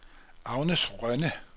Agnes Rønne